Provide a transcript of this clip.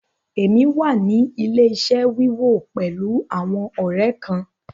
Èmi wà ní ilẹ̀-iṣẹ̀ wíwo pẹ̀lú àwọn ọ̀rẹ́ kán.